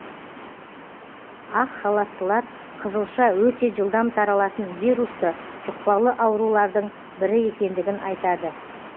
ақ халаттылар қызылша өте жылдам таралатын вирусты жұқпалы аурулардың бірі екендігін айтады